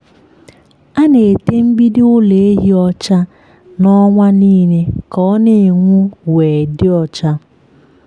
a na-ete mgbidi ụlọ ehi ọcha na ọnwa nile ka o na-enwu we dị ọcha.